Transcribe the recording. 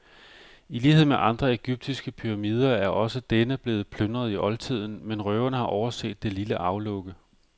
I lighed med andre egyptiske pyramider er også denne blevet plyndret i oldtiden, men røverne har overset det lille aflukke.